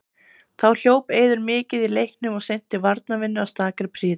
Þá hljóp Eiður mikið í leiknum og sinnti varnarvinnunni af stakri prýði.